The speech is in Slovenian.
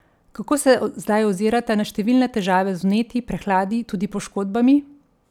Kako se zdaj ozirate na številne težave z vnetji, prehladi, tudi poškodbami?